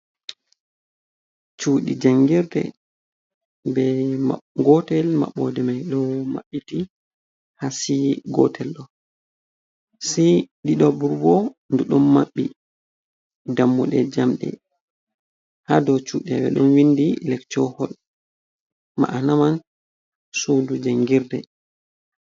Cudi jangirde gotel maɓɓode mai ɗo mabbiti hasi gotel do sai ɗiɗo go bo ɗi don maɓɓi dammude jamɗe ha do cudebe ɗon windi lekchohol ma’ana man sudu jangirde.